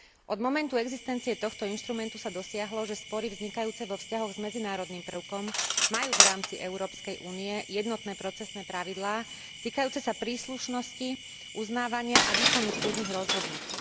Od momentu existencie tohto inštrumentu sa dosiahlo, že spory vznikajúce vo vzťahoch s medzinárodným prvkom majú v rámci Európskej únie jednotné procesné pravidlá týkajúce sa príslušnosti, uznávania a výkonu súdnych rozhodnutí.